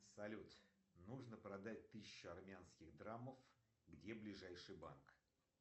салют нужно продать тысячу армянских драмов где ближайший банк